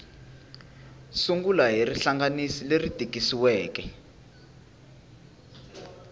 sungula hi rihlanganisi leri tikisiweke